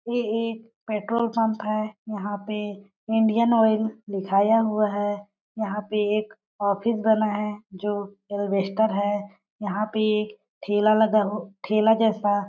ये एक petrol pump है। यहाँ पे इंडियन लिखाया हुआ है। यहाँ पे एक ऑफिस बना है जो एलवेस्टर है है। यहाँ पे एक ठेला लगा हु ठेला जैसा--